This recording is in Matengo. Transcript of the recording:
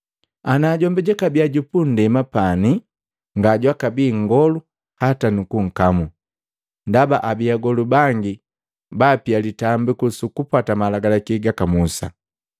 Ana jombi jwaka bia jupunndema pani, nga jwaka bi nngolu hata nunkamu, ndaba abii agolu bangi baapia litambiku su kupwata malagalaki gaka Musa.